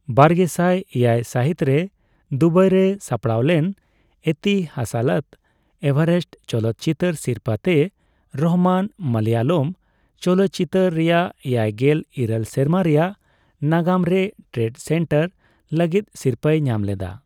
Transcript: ᱵᱟᱨᱜᱮᱥᱟᱭ ᱮᱭᱟᱭ ᱥᱟᱹᱦᱤᱛᱨᱮ ᱫᱩᱵᱟᱭᱨᱮ ᱥᱟᱯᱲᱟᱣᱞᱮᱱ ᱮᱛᱤᱥᱟᱞᱟᱛ ᱮᱵᱷᱟᱨᱮᱥᱴ ᱪᱚᱞᱚᱛ ᱪᱤᱛᱟᱹᱨ ᱥᱤᱨᱯᱟᱹ ᱛᱮ ᱨᱚᱦᱢᱟᱱ ᱢᱟᱞᱟᱭᱟᱞᱟᱢ ᱪᱚᱞᱚᱛ ᱪᱤᱛᱟᱹᱨ ᱨᱮᱭᱟᱜ ᱮᱭᱟᱭᱜᱮᱞ ᱤᱨᱟᱹᱞ ᱥᱮᱨᱢᱟ ᱨᱮᱭᱟᱜ ᱱᱟᱜᱟᱢᱨᱮ ᱴᱨᱮᱱᱰᱥᱮᱴᱟᱨ ᱞᱟᱹᱜᱤᱫ ᱥᱤᱨᱯᱟᱹᱭ ᱧᱟᱢᱞᱮᱫᱟ ᱾